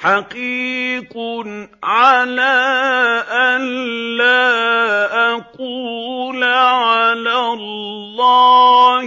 حَقِيقٌ عَلَىٰ أَن لَّا أَقُولَ عَلَى اللَّهِ